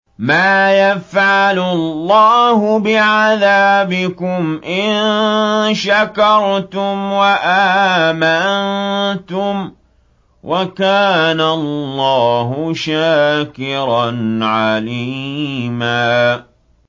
مَّا يَفْعَلُ اللَّهُ بِعَذَابِكُمْ إِن شَكَرْتُمْ وَآمَنتُمْ ۚ وَكَانَ اللَّهُ شَاكِرًا عَلِيمًا